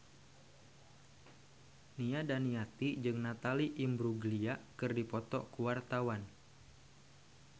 Nia Daniati jeung Natalie Imbruglia keur dipoto ku wartawan